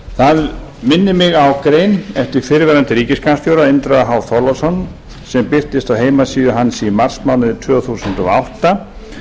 það minnir mig á grein eftir fyrrverandi ríkisskattstjóra indriða h þorláksson sem birtist á heimasíðu hans í marsmánuði tvö þúsund og átta